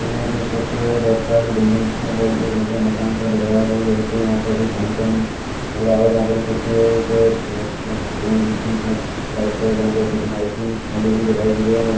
मुझे कुछ बहुत सारी बिल्डिंग सी मतलब मकान सा दिख रहा है वहाँ पर कोई फंक्शन हो रहा हो वहाँ पर कुछ माइक भी दिखाई दे रही है।